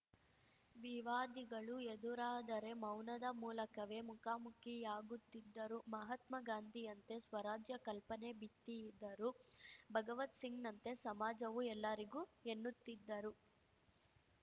ವಿವಾದಿಗಳು ಎದುರಾದರೆ ಮೌನದ ಮೂಲಕವೇ ಮುಖಾಮುಖಿಯಾಗುತ್ತಿದ್ದರು ಮಹಾತ್ಮ ಗಾಂಧಿಯಂತೆ ಸ್ವರಾಜ್ಯ ಕಲ್ಪನೆ ಬಿತ್ತಿದ್ದರೂ ಭಗವತ್‌ ಸಿಂಗ್‌ನಂತೆ ಸಮಾಜವು ಎಲ್ಲರಿಗೂ ಎನ್ನುತ್ತಿದ್ದರು